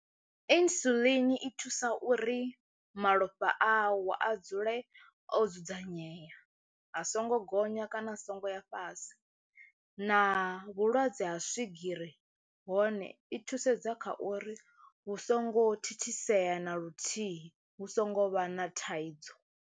Insulin i thusa uri malofha awu a dzule o dzudzanyea a songo gonya kana a songo ya fhasi na vhulwadze ha swigiri hone i thusedza kha uri hu songo thithisea na luthihi hu songo vha na thaidzo.